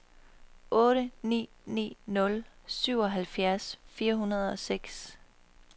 otte ni ni nul syvoghalvfjerds fire hundrede og seks